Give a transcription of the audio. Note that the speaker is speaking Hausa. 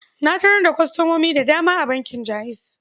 Na tarar da kwastomomin da dama a bankin Jaiz.